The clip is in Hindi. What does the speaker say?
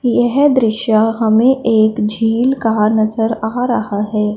यह दृश्य हमें एक झील का नजर आ रहा है।